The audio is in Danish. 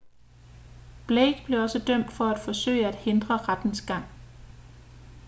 blake blev også dømt for at forsøge at hindre rettens gang